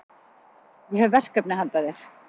Ég hef verkefni handa þér.